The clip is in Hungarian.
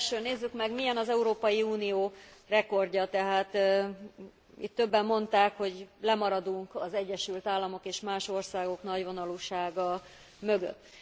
Az első, nézzük meg milyen az Európai Unió rekordja, tehát itt többen mondták, hogy lemaradunk az Egyesült Államok és más országok nagyvonalúsága mögött.